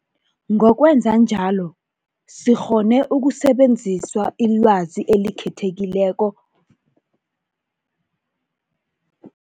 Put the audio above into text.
Ngokwenza njalo, sikghone ukusebenzisa ilwazi elikhe thekileko